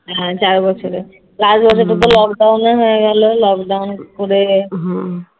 হ্যাঁ চার বছরের চার বছরে তো lockdown ও হয়ে গেল lockdown পড়ে